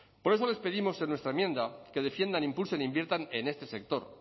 por eso les pedimos en nuestra enmienda que defiendan e impulsen inviertan en este sector